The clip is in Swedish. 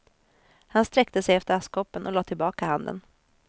Han sträckte sig efter askkoppen och lade tillbaka handen.